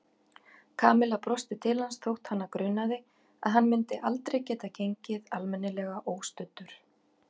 Kamilla brosti til hans þótt hana grunaði að hann myndi aldrei geta gengið almennilega óstuddur.